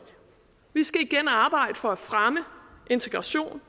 vi skal igen arbejde for at fremme integration